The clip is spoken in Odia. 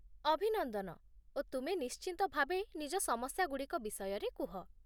ଅଭିନନ୍ଦନ, ଓ ତୁମେ ନିଶ୍ଚିନ୍ତ ଭାବେ ନିଜ ସମସ୍ୟାଗୁଡ଼ିକ ବିଷୟରେ କୁହ